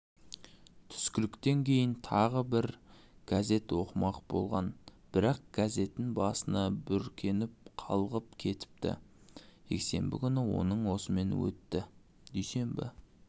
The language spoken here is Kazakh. түскіліктен кейін тағы газет оқымақ болған бірақ газетін басына бүркеніп қалғып кетіптіжексенбі күні оның осымен өтті дүйсенбі